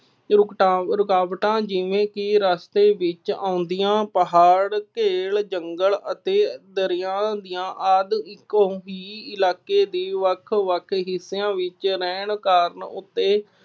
ਰੁਕਟਾਂ ਰੁਕਾਵਟਾਂ ਜਿਵੇਂ ਕਿ ਰਸਤੇ ਵਿੱਚ ਆਉਂਦੀਆਂ, ਪਹਾੜ, ਘੇਲ, ਜੰਗਲ ਅਤੇ ਦਰਿਆ ਦੀਆਂ ਆਦਿ ਕੋਈ ਇਲਾਕੇ ਦੇ ਵੱਖ ਵੱਖ ਖਿੱਤਿਆਂ ਵਿੱਚ ਰਹਿਣ ਕਾਰਨ ਉੱਥੇ